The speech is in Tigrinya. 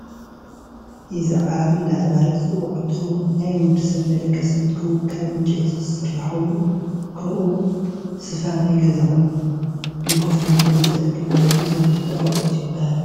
እዚ ዓራት እደተባሃለ ዝፅዋዕ እንትከውን ናይ ወድሰብ መደቀስ እንትከውን ካብ ዕንጨይቲ ዝሰራሕ ኮይኑ ከምኡ እውን ሰፋ ናይ ገዛ ኮይኑ ንከፍ መበል ዝጠቅም ናይ ገዛውቲ ኣቁሑ ይብሃል።